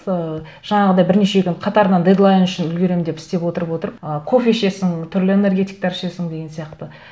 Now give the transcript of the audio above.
ыыы жаңағыдай бірнеше күн қатарынан дедлайн үшін үлгеремін деп істеп отырып отырып ы кофе ішесің түрлі энергетиктар ішесің деген сияқты